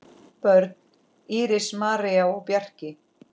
Börn: Íris, María og Bjarki.